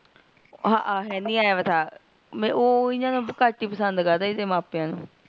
ਹਾਹਾ ਹੈਨੀ ਆਇਆ ਹੋਇਆ ਥਾ ਓਹ ਘਟ ਹੀ ਪਸੰਦ ਕਰਦੇ ਏਹਦੇ ਮਾਪਿਆਂ ਨੂ